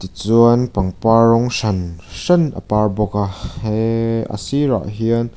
tichuan pangpar rawng hran hran a par bawk a hee a sirah hian--